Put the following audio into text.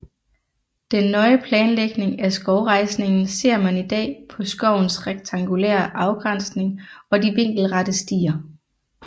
Den nøje planlægning af skovrejsningen ser man i dag på skovens rektangulære afgrænsning og de vinkelrette stier